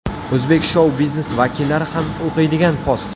O‘zbek shou biznes vakillari ham o‘qiydigan post.